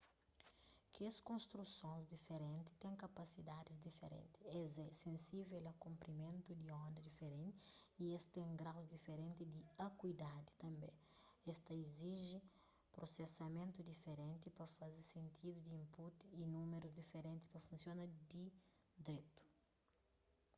kes konstrusons diferenti ten kapasidadis diferenti es é sensível a konprimentu di onda diferenti y es ten graus diferenti di akuidadi tanbê es ta iziji prusesamentu diferenti pa faze sentidu di input y númerus diferenti pa funsiona di dretu